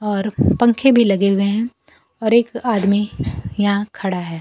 और पंखे भी लगे हुए हैं और एक आदमी यहां खड़ा है।